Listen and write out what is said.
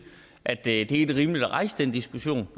at det er helt rimeligt at rejse den diskussion